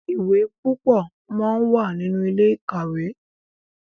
ìwé púpọ món wá nínú Ilé-ìkàwé.